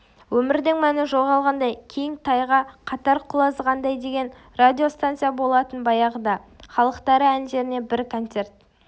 өмірдің мәні жоғалғандай кең тайга қатар құлазығандай деген радиостанция болатын баяғыда халықтары әндерінен бір концерт